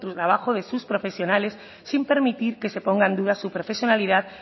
trabajo de sus profesionales sin permitir que se ponga en duda su profesionalidad